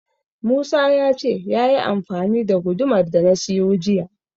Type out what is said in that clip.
Musa ya ce yayi amfani da gudumar da na siyo jiya.